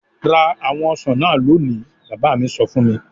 "Ra àwọn ọsàn náà lónìí!" Bàbá mi sọ fún mi.